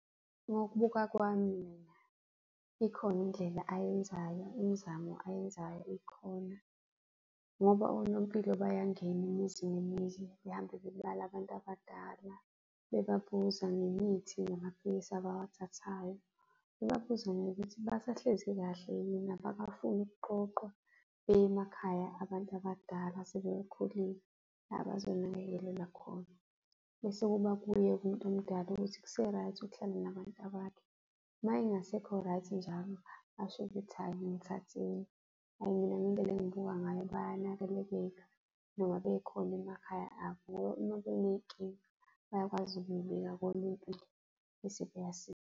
Ngokubuka kwami mina, ikhona indlela ayenzayo, imizamo ayenzayo ikhona ngoba onompilo bayangena imizi nemizi behambe bebala abantu abadala, bebabuza ngemithi namaphilisi abawathathayo, bebabuza ngokuthi basahlezi kahle yini abakufuni ukuqoqwa beye emakhaya abantu abadala asebekhulile abazonakekelelwa khona. Bese kuba kuye-ke umuntu omdala ukuthi kuse-right ukuhlala nabantabakhe. Uma engasekho right njalo, asho ukuthi hhayi ngithatheni. Hhayi, mina ngendlela engibuka ngayo bayanakelekeka noma bekhona emakhaya abo ngoba uma beney'nkinga, bayakwazi ukuy'bika konompilo bese .